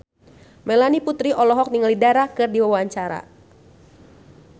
Melanie Putri olohok ningali Dara keur diwawancara